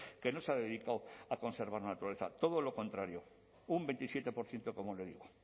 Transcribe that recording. que no se ha dedicado a conservar la naturaleza todo lo contrario un veintisiete por ciento como le digo